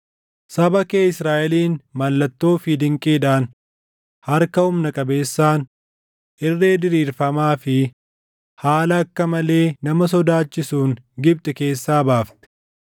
Saba kee Israaʼeliin mallattoo fi dinqiidhaan, harka humna qabeessaan, irree diriirfamaa fi haala akka malee nama sodaachisuun Gibxi keessaa baafte.